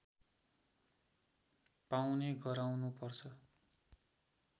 पाउने गराउनुपर्छ